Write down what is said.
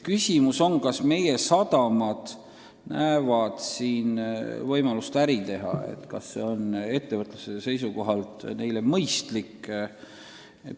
Küsimus on, kas meie sadamad näevad siin võimalust äri teha ja kas see on nende jaoks ettevõtluse seisukohalt mõistlik.